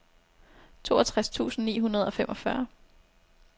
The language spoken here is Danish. toogtres tusind ni hundrede og femogfyrre